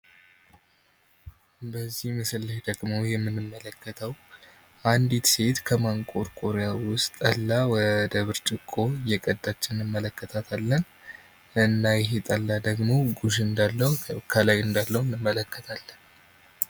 በዚህ ምስል ላይ ደግሞ የምንመለከተዉ አንዲት ሴት ከማንቆርቆሪያ ወደ ብርጭቆ እየቀዳች ነዉ የምንመለከተዉ። እና ይሄ ጠላ ደግሞ ጉሽ እንዳለዉ ከላይ ነዉ የምንመለከተዉ።